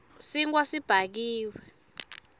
sinkhwa sibhakiwe